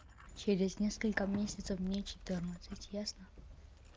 через несколько месяцев мне четырнадцать ясно